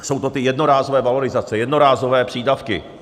Jsou to ty jednorázové valorizace, jednorázové přídavky.